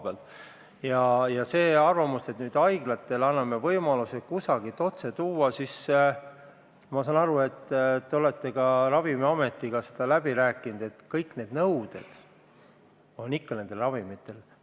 See mõte, et anname nüüd haiglatele võimaluse kusagilt ravimeid otse tuua – ma saan aru, et te olete selle ka Ravimiametiga läbi rääkinud, et kõik nõuded nendele ravimitele peavad ikka kehtima.